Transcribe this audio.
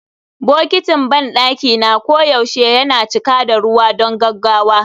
Bokitin banɗaki na koyaushe yana cika da ruwa don gaggawa